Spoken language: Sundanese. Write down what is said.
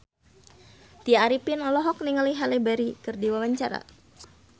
Tya Arifin olohok ningali Halle Berry keur diwawancara